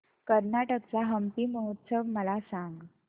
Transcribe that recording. कर्नाटक चा हम्पी महोत्सव मला सांग